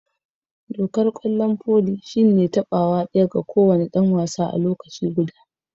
Dokan kwallon foli shine tabawa daya ma ko wani dan wasa a lokaci guda.